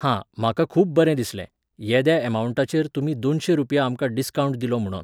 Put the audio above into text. हां, म्हाका खूब बरें दिसलें, येद्या ऍमावण्टाचेर तुमी दोनशीं रुपया आमकां डिस्कावंट दिलो म्हुणोन.